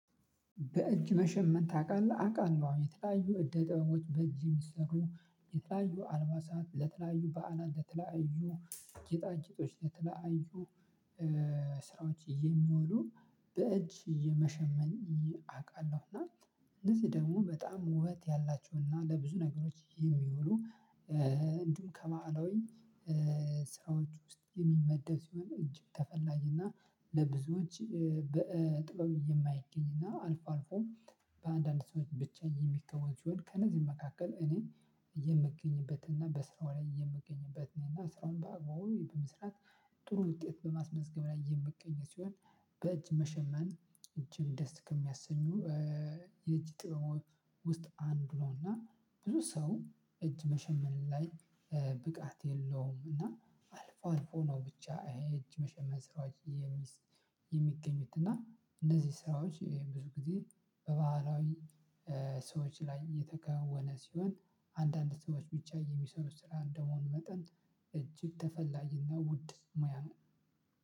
በእጅ መሸመን ታውቃለ? አውቃለሁ አዎ። የተለያዩ እደ ጥበቦች በእጅ የሚሰሩ ለተለያዩ አልባሳት፣ ለተለያዩ በዓላት፣ ለተለያዩ ጌጣጌጦች፣ ለተለያዩ ስራዎች የሚሆኑ በእጅ የሚሸመኑ እውቃለሁ እና እነዚህ ደግሞ በጣም ውበት ያላቸው እና ለብዙ ነገሮች የሚውሉ እንዲሁም ከማዕላዊ ስራዎች ውስጥ የሚወደሱ እጅግ ተፈላጊ ናእ ለብዙዎች በጥበብ የማይገኝ እና አልፎ አልፎም በአንዳንድ ሰዎች ብቻ የሚከናወን ክንውን መካከል እኔ የሚገኝበት እና በስራው ላይ የሚገኝበት እና ስራውን በአግባቡ በመስራት ጥሩ ውጤት በማስመዝገብ ላይ የምገኝ ሲሆን በእጅ መሸመን እጅግ ደስ ከሚያሰኙ የእጅ ጥበብ ውስጥ አንዱ ሆኖ ብዙ ሰው እጅ መሸመን ላይ ብቃት የለውም እና አልፎ አልፎ ነው ብቻ የእጅ መሸመን ስራዎች የሚገኘው እና እነዚህ ስራዎች ብዙ ጊዜ በባህላዊ ሰዎች ላይ የተከወነ ሲሆን አንዳንድ ሰዎች ብቻ የሚሰሩት ስራ እንደመሆኑ መጠን እጅግ ተፈላጊ እና ውድ ሙያ ነው።